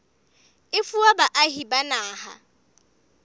e fuwa baahi ba naha